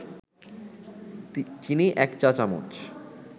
চিনি ১ চা-চামচ